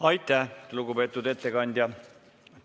Aitäh, lugupeetud ettekandja!